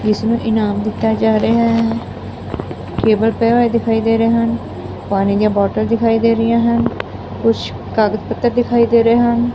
ਇਸ ਨੂੰ ਇਨਾਮ ਦਿੱਤਾ ਜਾ ਰਿਹਾ ਹੈ। ਪਏ ਹੋਏ ਦਿਖਾਈ ਦੇ ਰਹੇ ਹਨ। ਪਾਣੀ ਦੀਆਂ ਬੋਤਲ ਦਿਖਾਈ ਦੇ ਰਹੀਆਂ ਹਨ ਕੁਝ ਕਾਗਜ ਪੱਤਰ ਦਿਖਾਈ ਦੇ ਰਹੇ ਹਨ।